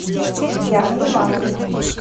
яна ивановна